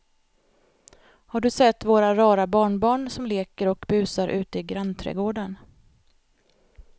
Har du sett våra rara barnbarn som leker och busar ute i grannträdgården!